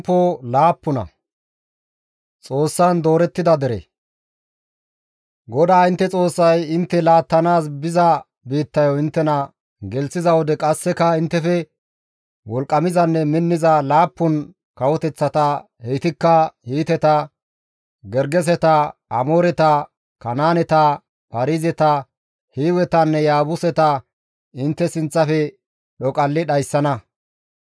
GODAA intte Xoossay intte laattanaas biza biittayo inttena gelththiza wode qasseka inttefe wolqqamizanne minniza laappun kawoteththata heytikka Hiiteta, Gergeseta, Amooreta, Kanaaneta, Paarizeta, Hiiwetanne Yaabuseta intte sinththafe dhoqalli dhayssana.